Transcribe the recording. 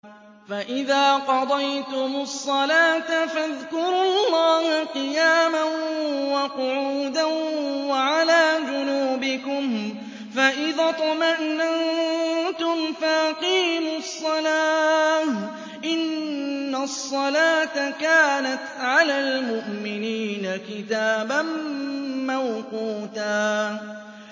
فَإِذَا قَضَيْتُمُ الصَّلَاةَ فَاذْكُرُوا اللَّهَ قِيَامًا وَقُعُودًا وَعَلَىٰ جُنُوبِكُمْ ۚ فَإِذَا اطْمَأْنَنتُمْ فَأَقِيمُوا الصَّلَاةَ ۚ إِنَّ الصَّلَاةَ كَانَتْ عَلَى الْمُؤْمِنِينَ كِتَابًا مَّوْقُوتًا